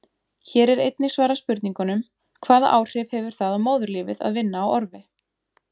Hér er einnig svarað spurningunum: Hvaða áhrif hefur það á móðurlífið að vinna á orfi?